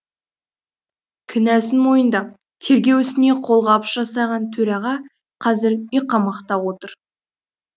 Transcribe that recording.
кінәсін мойындап тергеу ісіне қолғабыс жасаған төраға қазір үйқамақта отыр